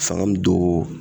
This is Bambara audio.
Fanga be don